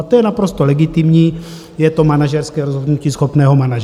A to je naprosto legitimní, je to manažerské rozhodnutí schopného manažera.